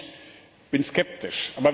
auch ich bin skeptisch.